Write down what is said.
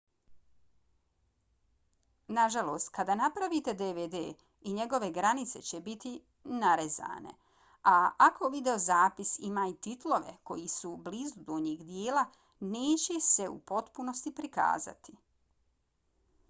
nažalost kada napravite dvd i njegove granice će biti narezane a ako videozapis ima i titlove koji su blizu donjeg dijela neće se u potpunosti prikazati